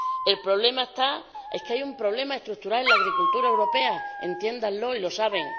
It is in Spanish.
El problema está en que hay un problema estructural en la agricultura europea —entiéndanlo— y lo saben.